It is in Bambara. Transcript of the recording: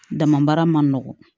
Dama baara ma nɔgɔn